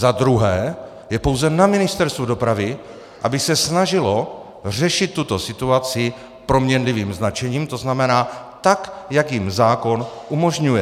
Za druhé, je pouze na Ministerstvu dopravy, aby se snažilo řešit tuto situaci proměnlivým značením, to znamená tak, jak jim zákon umožňuje.